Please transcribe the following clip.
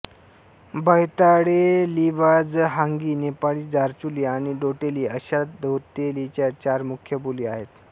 बैताडेलीबाजहांगी नेपाळी दार्चुली आणि डोटेली अशा डोतेलीच्या चार मुख्य बोली आहेत